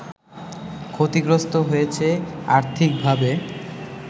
ক্ষতিগ্রস্ত হয়েছে আর্থিকভাবে